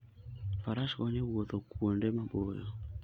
Faras konyo e wuotho kuonde maboyo.